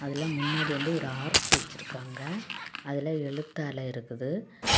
இல முன்னாடி வந்து ஒரு ஆர்சு வச்சிருக்காங்க அதுல எழுத்தால இருக்குது.